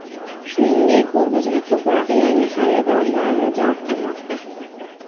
Shuningdek, bu bizga ko‘proq yangi xaridorlarni jalb qilmoqda.